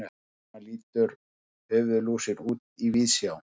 svona lítur höfuðlúsin út í víðsjá